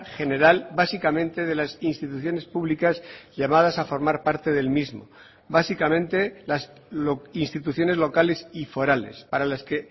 general básicamente de las instituciones públicas llamadas a formar parte del mismo básicamente las instituciones locales y forales para las que